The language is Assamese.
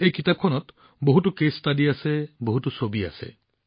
এই কিতাপখনত বহুতো কেছ ষ্টডি আছে বহুতো ছবি আছে